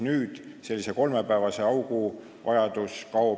Nüüd kaob sellise kolmepäevase augu vajadus ära.